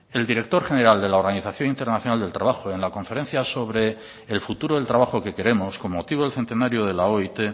el director general de la organización internacional del trabajo en la conferencia sobre el futuro del trabajo que queremos con motivo del centenario de la oit